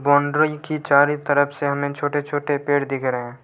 boundary की चारों तरफ से हमें छोटे छोटे पेड़ दिख रहे--